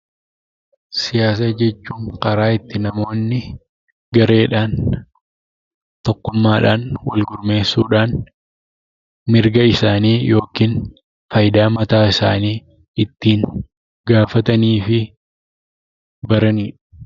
Siyaasa jechuun karaa ittiin namoonni gareedhaan, tokkummaadhaan gurmeessuudhaan mirga isaanii yookiin fayidaa mataa isaanii ittiin gaafatanii fi baranidha.